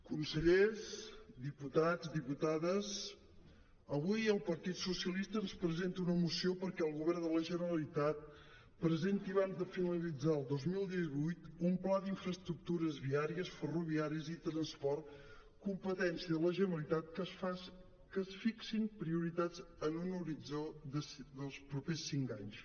consellers diputats diputades avui el partit socialista ens presenta una moció perquè el govern de la generalitat presenti abans de finalitzar el dos mil divuit un pla d’infraestructures viàries ferroviàries i transport competència de la generalitat que es fixin prioritats en un horitzó dels propers cinc anys